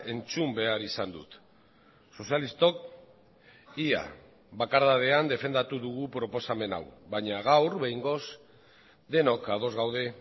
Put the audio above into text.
entzun behar izan dut sozialistok ia bakardadean defendatu dugu proposamen hau baina gaur behingoz denok ados gaude